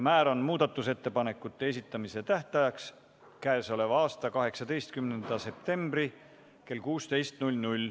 Määran muudatusettepanekute esitamise tähtajaks k.a 18. septembri kell 16.